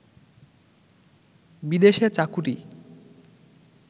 বিদেশে চাকুরী